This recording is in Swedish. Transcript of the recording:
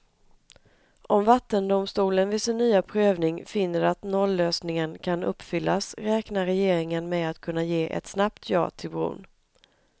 Om vattendomstolen vid sin nya prövning finner att nollösningen kan uppfyllas räknar regeringen med att kunna ge ett snabbt ja till bron.